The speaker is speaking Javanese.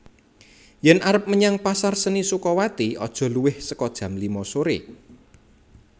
Yen arep menyang pasar seni Sukawati aja luwih soko jam lima sore